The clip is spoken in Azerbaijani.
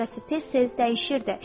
Çöhrəsi tez-tez dəyişirdi.